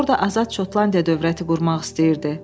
orda azad Şotlandiya dövləti qurmaq istəyirdi.